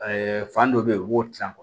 fan dɔ bɛ ye u b'o tilan